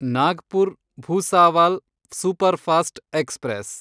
Nagpur Bhusawal superfast express